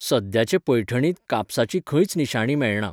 सद्याचे पैठणींत कापसाची खंयच निशाणी मेळना.